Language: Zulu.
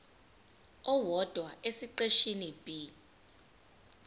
owodwa esiqeshini b